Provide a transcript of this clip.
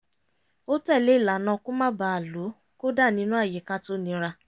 ó tẹ̀lé ìlànà kó má bà á lò kódà nínú àyíká tó nira